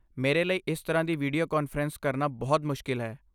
ਮੇਰੇ ਲਈ ਇਸ ਤਰ੍ਹਾਂ ਦੀ ਵੀਡੀਓ ਕਾਨਫਰੰਸ ਕਰਨਾ ਬਹੁਤ ਮੁਸ਼ਕਲ ਹੈ।